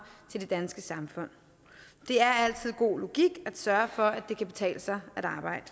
til det danske samfund det er altid god logik at sørge for at det kan betale sig at arbejde